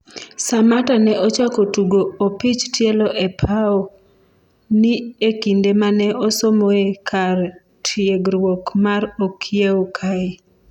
Samatta ne ochako tugo opich tielo e pao ni e kinde mane osomoe kar tiegruok mar okiewo kae